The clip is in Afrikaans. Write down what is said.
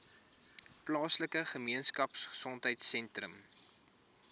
plaaslike gemeenskapgesondheid sentrum